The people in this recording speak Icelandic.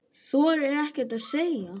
Þorir ekkert að segja.